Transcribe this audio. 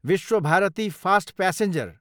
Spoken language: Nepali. Vishwabharati fast passenger